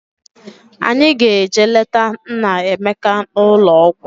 Anyị ga-eje leta Nnaemeka n'ụlọ ọgwụ